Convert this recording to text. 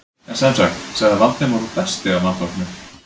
En sem sagt- sagði Valdimar og dæsti af vanþóknun.